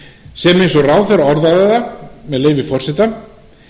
sem eins og ráðherra orðaði það með leyfi forseta